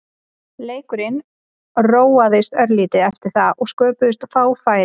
Leikurinn róaðist örlítið eftir það og sköpuðust fá færi.